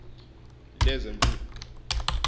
lezemfundo